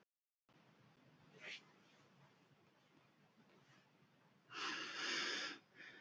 Til að öðlast leyfi til áfengisveitinga þarf að senda umsókn til viðkomandi sveitarfélags.